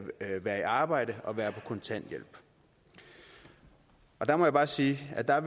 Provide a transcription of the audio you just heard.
at være i arbejde og være på kontanthjælp der må jeg bare sige at der